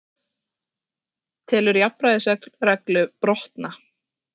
Telur jafnræðisreglu brotna